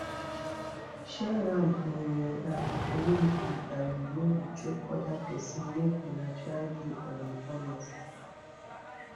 share am in a um way e um no go choke other persin make una try de um honest